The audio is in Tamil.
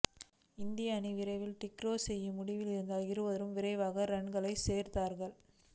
இந்திய அணி விரைவில் டிக்ளேர் செய்யும் முடிவில் இருந்ததால் இருவரும் விரைவாக ரன்கள் சேர்த்தார்கள்